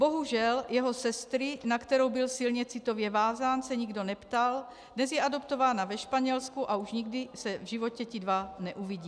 Bohužel, jeho sestry, na kterou byl silně citově vázán, se nikdo neptal, dnes je adoptována ve Španělsku a už nikdy se v životě ti dva neuvidí.